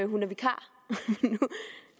hun er vikar